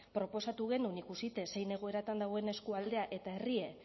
proposatu genuen ikusita zein egoeratan dagoen eskualdea eta herria